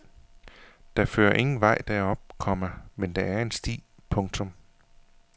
Der fører ingen vej derop, komma men der en en sti. punktum